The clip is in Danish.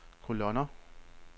kolonner